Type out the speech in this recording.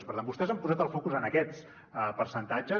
per tant vostès han posat el focus en aquests percentatges